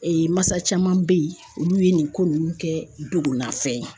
Ee masa caman be yen olu ye nin ko nunnu kɛ dugu ma fɛn ye